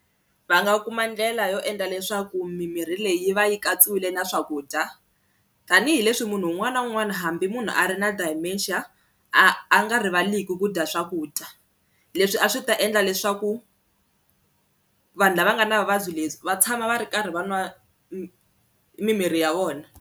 Va nga kuma ndlela yo endla leswaku mimirhi leyi va yi katsiwile na swakudya tanihileswi munhu un'wana na un'wana hambi munhu a ri na dementia a a nga rivaliki ku dya swakudya, leswi a swi ta endla leswaku vanhu lava nga na vuvabyi lebyi va tshama va ri karhi va nwa mimirhi ya vona.